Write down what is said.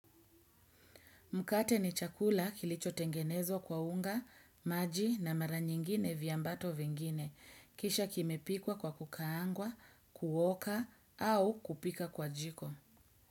Mkate ni chakula kilichotengenezwa kwa unga, maji na mara nyingine viambato vingine. Kisha kimepikwa kwa kukaangwa, kuoka au kupika kwa jiko.